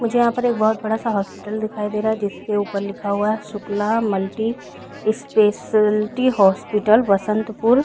मुझे यहां पर एक बहुत बड़ा सा हॉस्पिटल दिखाई दे रहा है जिसके ऊपर लिखा हुआ है Shukla multi speciality hospital Basantpur.